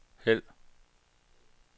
hæld